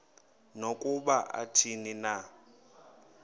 nokuba athini na